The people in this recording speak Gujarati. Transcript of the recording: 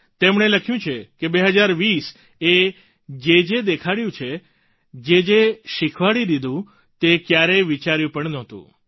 તેમણે લખ્યું છે કે 2020 એ જેજે દેખાડી દીધું જેજે શિખવાડી દીધું તે ક્યારેય વિચાર્યું પણ નહોતું